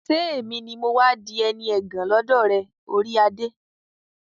ṣé èmi ni mọ́ wá di ẹni ẹ̀gàn lọ́dọ̀ rẹ, orí adé?